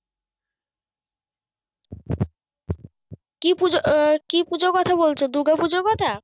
কি পুজো আহ কি পুজোর কথা বলছো দুগা-পুজোর কথা?